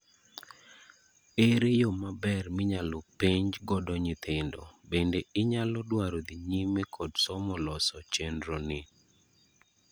Ere yoo maber minyalo penj godo nyithindo, bende inyalo dwaro dhi nyime kod somo loso chenroni ?